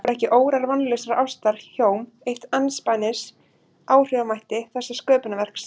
Voru ekki órar vonlausrar ástar hjóm eitt andspænis áhrifamætti þessa sköpunarverks?